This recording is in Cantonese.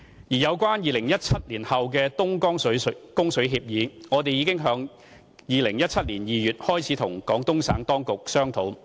而有關2017年後的東江水供水協議，我們已在2017年2月開始與廣東省當局商討。